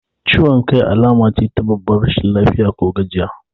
Ciwan kai alamace ta babbar rashin lafiya ko gajiya